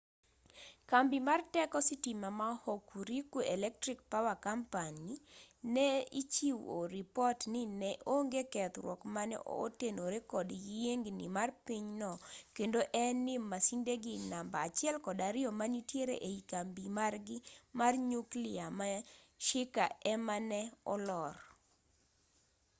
kambi mar teko sitima ma hokuriku electric power co ne ichiwo ripot ni ne onge kethruok mane otenore kod yiengni mar piny no kendo en ni masindegi namba 1 kod 2 manitiere ei kambi margi mar nyuklia ma shika ema ne olor